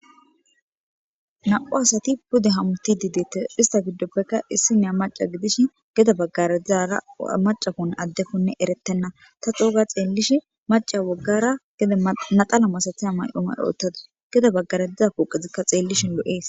Na'u asati pude hamuti dideette ista giddoppekka issi neya maca gidish geda baggaradzara macafon addekonne eretenna ta xooga xeellishi maca waggara geda maxala masathaya may'oma oottada geda baggaredzeza kooqezikka xeellishin lo'ees.